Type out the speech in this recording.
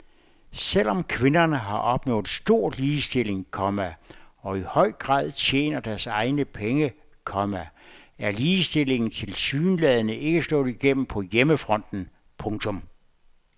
Selv om kvinderne har opnået stor ligestilling, komma og i høj grad tjener deres egne penge, komma er ligestillingen tilsyneladende ikke slået helt igennem på hjemmefronten. punktum